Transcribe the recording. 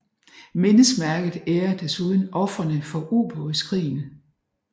Mindesmærket ærer desuden ofrene for ubådskrigen